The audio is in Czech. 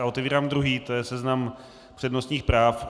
A otevírám druhý, to je seznam přednostních práv.